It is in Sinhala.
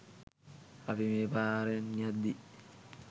අපි මේ පාරෙන් යද්දී